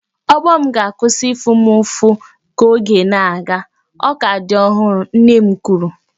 Ogbo m ga-akwụsị ịfụ m ụfụ ka oge na-aga, ọ ka dị ọhụrụ, nne m kwuru